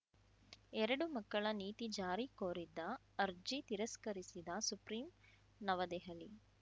ಎರಡು ಮಕ್ಕಳ ನೀತಿ ಜಾರಿ ಕೋರಿದ್ದ ಅರ್ಜಿ ತಿರಸ್ಕರಿಸಿದ ಸುಪ್ರೀಂ ನವದೆಹಲಿ